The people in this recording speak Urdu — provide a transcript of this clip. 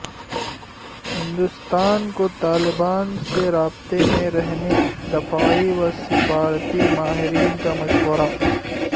ہندوستان کو طالبان سے رابطے میں رہنے دفاعی و سفارتی ماہرین کا مشورہ